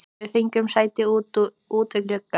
Við fengum sæti út við glugga.